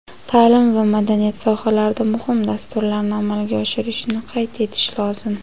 ta’lim va madaniyat sohalarida muhim dasturlarni amalga oshirishni qayd etish lozim.